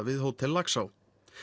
við Hótel Laxá